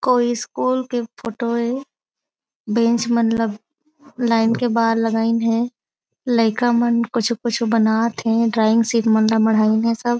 कोई स्कूल की फोटो हे बेंच मतलब लाइन के बाहर लगाईन हे लइका मन कुछु कुछु बनात हे ड्राइंग शीट ल मढ़ाईन हे सब